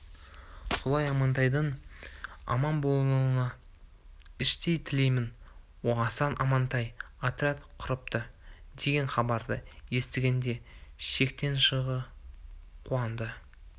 солай амантайдың аман болуын іштей тілейтін асан амантай отряд құрыпты деген хабарды естігенде шектен шыға қуанды